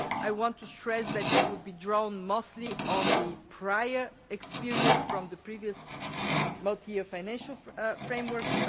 I want to stress that it would be drawn mostly on the prior experience from the previous multi year financial framework